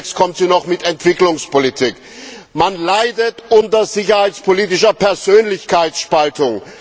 Demnächst kommt sie noch mit Entwicklungspolitik. Man leidet unter sicherheitspolitischer Persönlichkeitsspaltung.